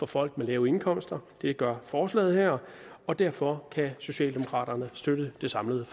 folk med lave indkomster det gør forslaget her og derfor kan socialdemokraterne støtte det samlede